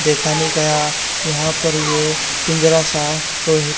देखा नई गया यहां पर ये पिंजरा सा लोहे--